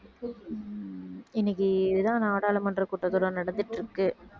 உம் இன்னைக்கு இதுதான் நாடாளுமன்ற கூட்டத்தொடர் நடந்துட்டுருக்கு